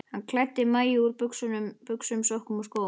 Hann klæddi Maju úr buxum, sokkum og skóm.